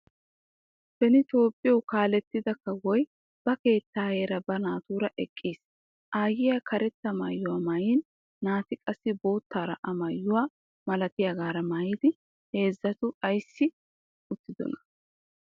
Beni Toophiyo kaalettida kawoy ba keettaayeera ba naatuura eqqis. Aayyiya karetta maayuwa maayin naati qassi boottaara a maayuwa malatiyagaara maayidi heezzato ayissi uttidonaa?